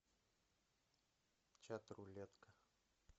чат рулетка